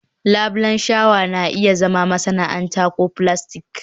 labulen shawa na iya zama masana'anta ko filastik